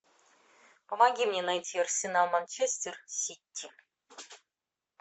помоги мне найти арсенал манчестер сити